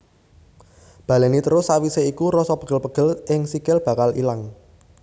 Baléni terus sawisé iku rasa pegel pegel ing sikil bakal ilang